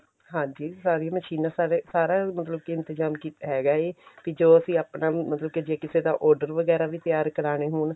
ਹਾਂਜੀ ਸਾਰੀਆਂ ਮਸ਼ੀਨਾਂ ਸਾਰੇ ਸਾਰਾ ਮਤਲਬ ਕੀ ਇੰਤਜਾਮ ਕੀ ਹੈਗਾ ਹੈ ਕੀ ਜੋ ਅਸੀਂ ਆਪਣਾ ਮਤਲਬ ਜੇ ਕਿਸੇ ਦਾ order ਵਗੈਰਾ ਵੀ ਤਿਆਰ ਕਰਾਨੇ ਹੋਣ